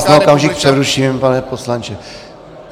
Já vás na okamžik přeruším, pane poslanče.